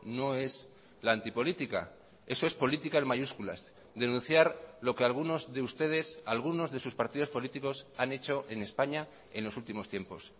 no es la antipolítica eso es política en mayúsculas denunciar lo que algunos de ustedes algunos de sus partidos políticos han hecho en españa en los últimos tiempos